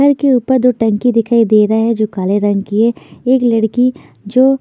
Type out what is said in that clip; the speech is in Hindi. घर के ऊपर दो टंकी दिखाई दे रहे हैं जो काले रंग की है एक लड़की जो--